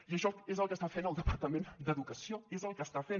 i això és el que està fent el departament d’educació és el que està fent